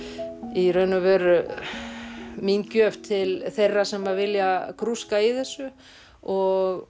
í raun og veru mín gjöf til þeirra sem vilja grúska í þessu og